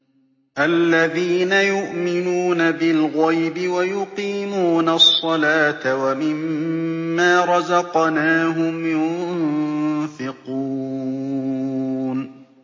الَّذِينَ يُؤْمِنُونَ بِالْغَيْبِ وَيُقِيمُونَ الصَّلَاةَ وَمِمَّا رَزَقْنَاهُمْ يُنفِقُونَ